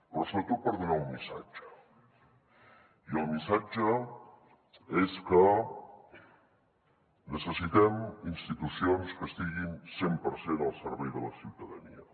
però sobretot per donar un missatge i el missatge és que necessitem institucions que estiguin cent per cent al servei de la ciutadania